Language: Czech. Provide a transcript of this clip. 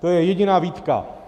To je jediná výtka.